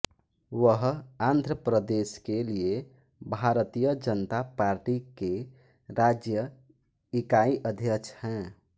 वह आंध्र प्रदेश के लिए भारतीय जनता पार्टी के राज्य इकाई अध्यक्ष हैं